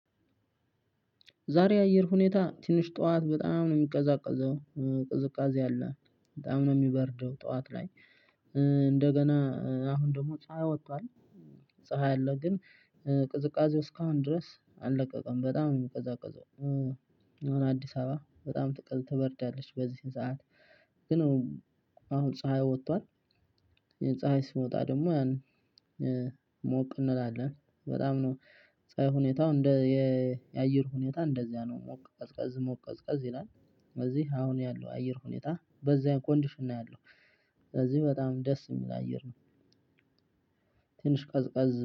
ዛሬ አየር ሁኔታ ትንሽ ጠዋት በጣም ነው የሚቀዘቅዘው ቅዝቃዜ አለ በጣም ነው የሚበርደው ጠዋት ላይ። እንደገና አሁን ደግሞ ፀሀይ ወጥቷል። ፀሀይ አለ ግን። ቅዝቃዜው እስካሁን ድረስ አልለቀቀም በጣም ነው ሚቀዘቅዘው። አዲስ አበባ በጣም ትቀዘቅዝ ትበርዳለች በዚ ሰዓት። ግን አሁን ፀሀይ ወጥቷል። ፀሀይ ሲመወጣ ደግሞ ያን ሞቅ እንላለን በጣም ነው። ፀሀይ ሁኔታው እንደ የአየር ሁኔታ እንደዚያ ነው ሞቅ ቀዝቀዝ ሞቅ ቀዝቀዝ ይላል። እዚህ አሁን ያለው አየር ሁኔታ በዛ ኮንድሽን ነው ያለሁ። ስለዚህ በጣም ደስ የሚል አየር ነው። ትንሽ ቀዝቀዝ